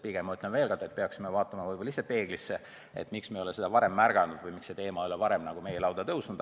Pigem ütlen veel kord, et me peaksime ise peeglisse vaatama ja küsima, miks me ei ole seda varem märganud või miks see teema ei ole varem tõstatunud.